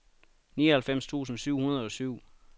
nioghalvfems tusind syv hundrede og syv